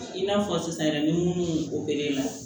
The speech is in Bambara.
I n'a fɔ sisan yɛrɛ ni minnu bɛ na